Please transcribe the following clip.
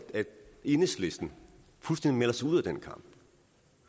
enhedslisten fuldstændig melder sig ud af den kamp